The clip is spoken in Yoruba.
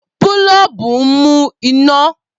Boolubu nmu ina.